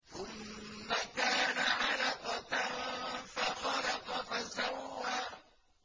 ثُمَّ كَانَ عَلَقَةً فَخَلَقَ فَسَوَّىٰ